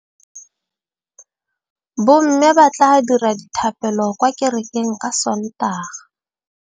Bommê ba tla dira dithapêlô kwa kerekeng ka Sontaga.